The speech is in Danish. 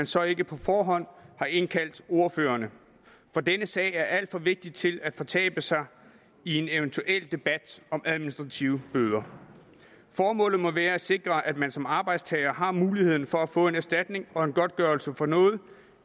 så ikke på forhånd har indkaldt ordførerne for denne sag er alt for vigtig til at fortabe sig i en eventuel debat om administrative bøder formålet må være at sikre at man som arbejdstager har mulighed for at få erstatning og godtgørelse for noget